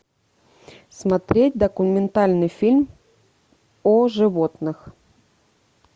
смотреть документальный фильм о животных